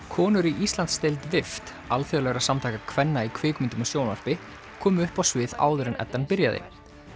konur í Íslandsdeild alþjóðlegra samtaka kvenna í kvikmyndum og sjónvarpi komu upp á svið áður en Eddan byrjaði